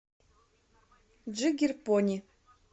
джиггер пони